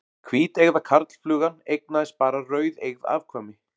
Hvíteygða karlflugan eignaðist bara rauðeygð afkvæmi.